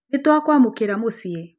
Nĩtwakwamũkĩra Mũciĩ